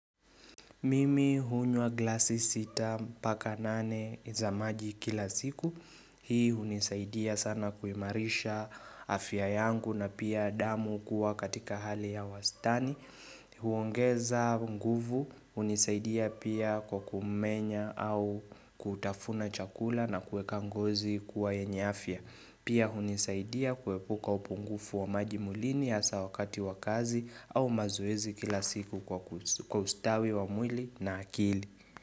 Mimi hunywa glasi sita mpaka nane za maji kila siku. Hii hunisaidia sana kuimarisha afya yangu na pia damu kuwa katika hali ya wastani. Huongeza nguvu, hunisaidia pia kwa kumenya au kutafuna chakula na kuweka ngozi kuwa yenye afya. Pia hunisaidia kuepuka upungufu wa maji mwilini hasa wakati wa kazi au mazoezi kila siku kwa ustawi wa mwili na akili.